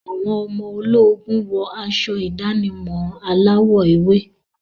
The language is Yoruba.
Àwọn ọmọ ológun wọ aṣọ ìdánimọ̀ aláwọ̀ ewé.